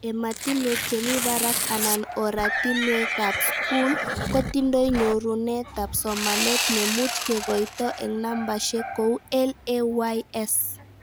Ematinwek chemi barak anan oratinwekab skul kotindoi nyorunetab somanet, nemuch kekoito eng nambeshek kou LAYS